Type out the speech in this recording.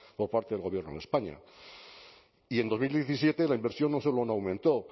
por parte del gobierno de españa y en dos mil diecisiete la inversión no solo no aumentó